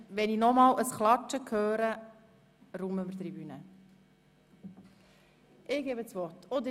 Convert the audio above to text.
Wenn ich nochmals ein Klatschen höre, lasse ich die Tribüne räumen.